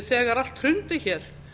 þegar allt hrundi hér